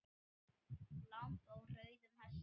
Lamb á rauðum hesti